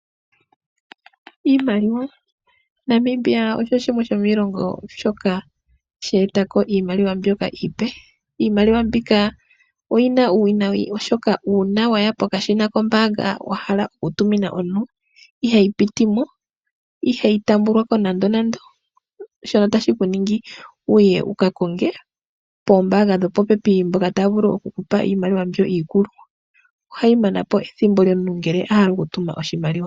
Iimaliwa Namibia osho shimwe shomiilongo she eta ko imaliwa mbyoka iipe. Iimaaliwa mbika oyi na uuwinayi, oshoka uuna wa ya puushina wa hala okutumina omuntu, ihayi piti mo, ihayi taambwa nandenande. Otashi ku ningi wu ye wu ka konge poombaanga dhopopepi mboka taya vulu okukupa iimaliwa mbyoka iikulu. Ohashi mana po ethimbo lyomuntu ngele okwa hala okutuma oshimaliwa.